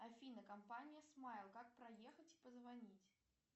афина компания смайл как проехать позвонить